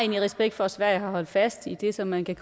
respekt for at sverige har holdt fast i det som man kan